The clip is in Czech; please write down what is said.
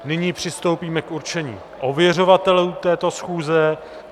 Nyní přistoupíme k určení ověřovatelů této schůze.